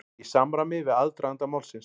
Í samræmi við aðdraganda málsins